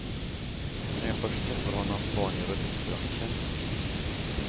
När jag först träffade honom var han i roulettbranschen.